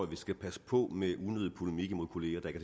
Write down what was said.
vi skal passe på med unødig polemik mod kolleger der ikke